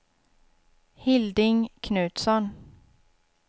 Hilding Knutsson